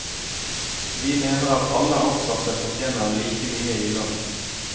Vi mener at alle ansatte fortjener like mye i lønn.